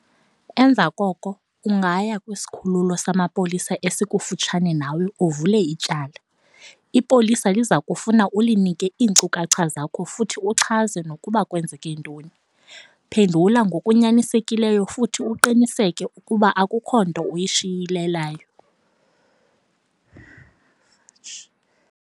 Emva koko ungaya kwisikhululo samapolisa esikufutshane nawe uvule ityala. Ipolisa liza kufuna ulinike iinkcukacha zakho futhi uchaze nokuba kwenzeke ntoni. Phendula ngokunyanisekileyo futhi uqinisekise ukuba akukho nto uyishiyelelayo.